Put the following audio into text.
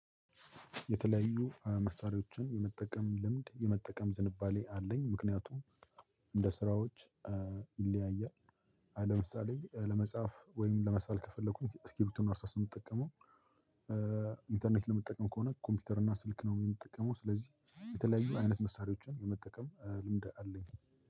የተለያዩ መሳሪያዎችን የመጠቀም ልምድ የመጠቀም ዝንባሌ አለኝ ምክንያቱም እንደ ስራወች ይለያያል ለምሳሌ ለመጻፍ ወይም ለመሳል ከፈለኩኝ እስክብርቶና እርሳስ ምጠቀመው። ኢንተርኔትን ምጠቀም ከሆነ ኮምፒተር እና ስልክ ነው ምጠቀመው ስለዚህ የተለያዩ መሳርያወቺን የመጠቀም ልምድ አለኚ።